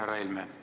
Härra Helme!